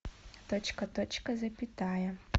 точка точка запятая